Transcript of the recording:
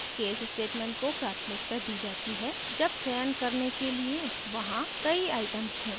case statement को प्राथमिकता the जाती है जब चयन करने के लिए वहाँ कहीं items हों